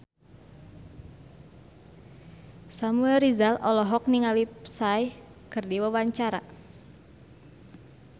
Samuel Rizal olohok ningali Psy keur diwawancara